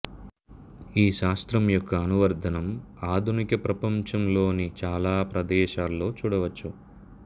ఈ శాస్త్రం యొక్క అనువర్తనం ఆధునిక ప్రపంచంలోని చాలా ప్రదేశాల్లో చూడవచ్చు